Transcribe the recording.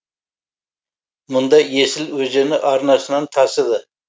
мұнда есіл өзені арнасынан тасыды